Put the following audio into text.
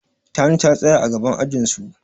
Tani na tsaye a gaban ajin su.